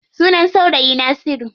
Sunan saurayi na Nasiru.